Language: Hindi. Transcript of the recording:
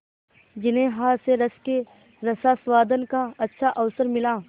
जिन्हें हास्यरस के रसास्वादन का अच्छा अवसर मिला